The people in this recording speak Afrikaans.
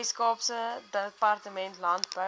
weskaapse departement landbou